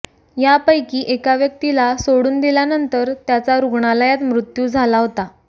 यापैकी एका व्यक्तीला सोडून दिल्यानंतर त्याचा रुग्णालयात मृत्यू झाला होता